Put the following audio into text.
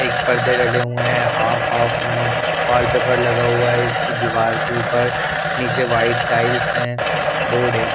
एक पर्दे डले हुए हैं हाफ हाफ में वॉलपेपर लगा हुआ हैं इसकी दीवार के ऊपर नीचे वाइट टाइल्स हैं बोर्ड हैं ।